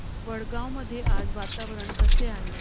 वडगाव मध्ये आज वातावरण कसे आहे